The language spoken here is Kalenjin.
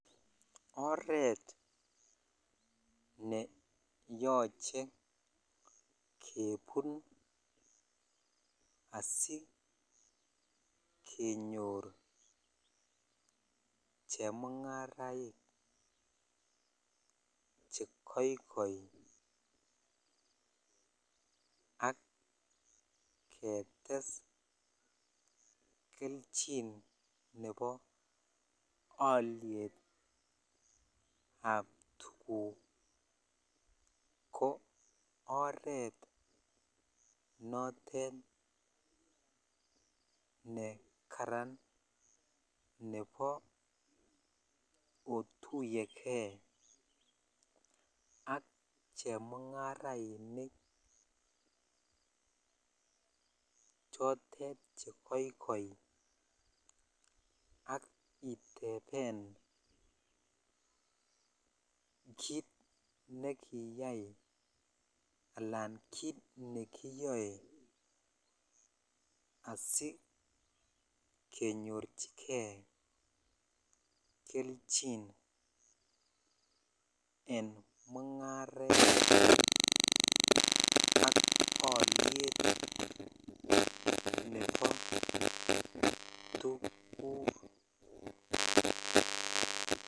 Oret ne yoche kebun asikenyor chemungaraik che kikoit ak ketes chi nebo ab tukuk ko oret notet me Karan nebo otuyegei ako oret notet me Karan nebo otuyekey ak chemungarainik chotet chekoikoi ak iteben Alan kit nekiyoe asikenyorchigen kelchin en mungaret ak nebo tuguk